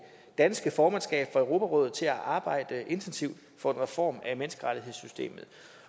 danske formandskab for europarådet til at arbejde intensivt for en reform af menneskerettighedssystemet